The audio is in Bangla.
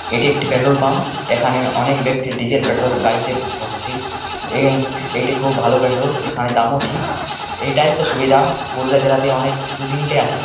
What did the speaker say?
এটি একটি পেট্রোল পাম্প এখানে অনেক ব্যক্তি ডিজেল পেট্রোল গাড়িতে ভরছি এবং এটি খুব ভালো পেট্রোল এখানে দাম ও ঠিকএটাই তো সুবিধা পুরুলিয়া জেলা তে অনেক দু-তিনটা আছে।